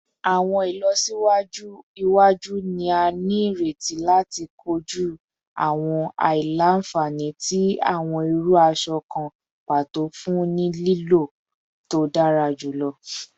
Awọn ilọsiwaju iwaju ni a nireti lati koju awọn aila-nfani ti awọn iru aṣọ kan pato fun lilo to dara julọ